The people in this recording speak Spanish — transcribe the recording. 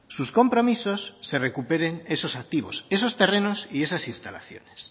sus compromisos se recuperen esos activos esos terrenos y esas instalaciones